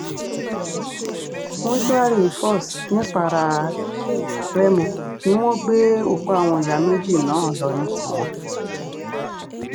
mòṣùárì fòs nìpara-rèmọ ni wọ́n gbé òkú àwọn ìyá méjì náà lọ ní tiwọn